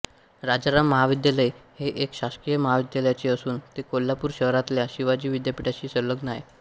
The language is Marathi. राजाराम महाविद्यालय हे एक शासकीय महाविद्यालय असून ते कोल्हापूर शहरातल्या शिवाजी विद्यापीठाशी संलग्न आहे